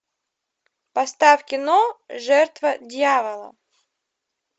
поставь кино жертва дьявола